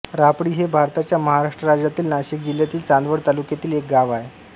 रापळी हे भारताच्या महाराष्ट्र राज्यातील नाशिक जिल्ह्यातील चांदवड तालुक्यातील एक गाव आहे